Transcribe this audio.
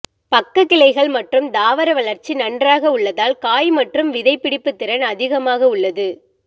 பக்கக் கிளைகள் மற்றும் தாவர வளர்ச்சி நன்றாக உள்ளதால் காய் மற்றும் விதைபிடிப்புத் திறன் அதிகமாக உள்ளது